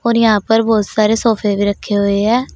और यहां पर बहुत सारे सोफे भी रखे हुए हैं।